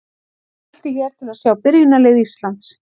Smelltu hér til að sjá byrjunarlið Íslands.